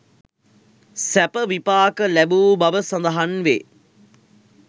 සැප විපාක ලැබූ බව සඳහන් වේ.